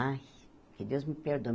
Ai, que Deus me perdoe.